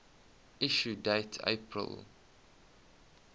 issue date april